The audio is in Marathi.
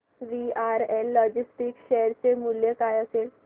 वीआरएल लॉजिस्टिक्स शेअर चे मूल्य काय असेल